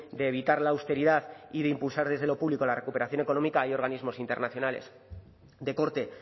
de evitar la austeridad y de impulsar desde lo público la recuperación económica hay organismos internacionales de corte